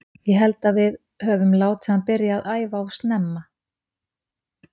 Ég held að við öfum látið hann byrja að æfa of snemma að æfa.